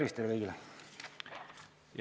Tervist teile kõigile!